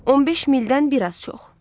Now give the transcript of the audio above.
15 mildən bir az çox.